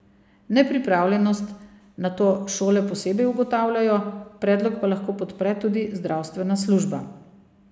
Nepripravljenost nato šole posebej ugotavljajo, predlog pa lahko podpre tudi zdravstvena služba.